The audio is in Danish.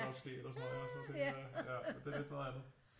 Hvad der er sket og sådan noget ikke så det lidt noget andet